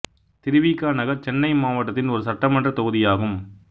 திரு வி க நகர் சென்னை மாவட்டத்தின் ஒரு சட்டமன்றத் தொகுதியாகும்